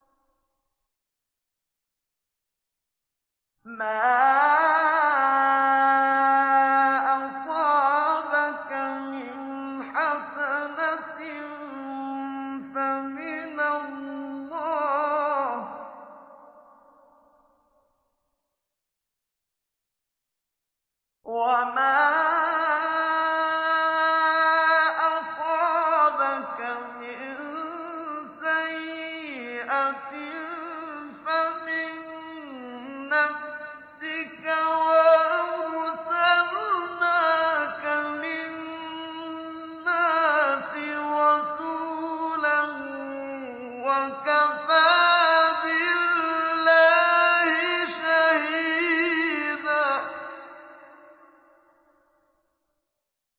مَّا أَصَابَكَ مِنْ حَسَنَةٍ فَمِنَ اللَّهِ ۖ وَمَا أَصَابَكَ مِن سَيِّئَةٍ فَمِن نَّفْسِكَ ۚ وَأَرْسَلْنَاكَ لِلنَّاسِ رَسُولًا ۚ وَكَفَىٰ بِاللَّهِ شَهِيدًا